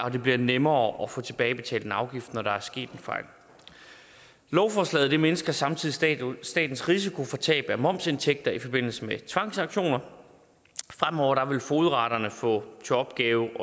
og det bliver nemmere at få tilbagebetalt en afgift når der er sket en fejl lovforslaget mindsker samtidig statens statens risiko for tab af momsindtægter i forbindelse med tvangsauktioner fremover vil fogedretterne få til opgave